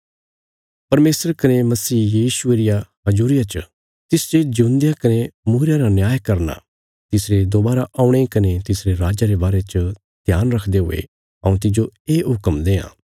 परमेशर कने मसीह यीशुये रिया हजूरिया च तिस जे जिऊंदेयां कने मूईरयां रा न्याय करना तिसरे दोवारा औणे कने तिसरे राज्जा रे बारे च ध्यान रखदे हुये हऊँ तिज्जो ये हुक्म देआं